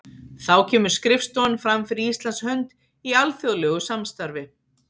Þá kemur skrifstofan fram fyrir Íslands hönd í alþjóðlegu samstarfi.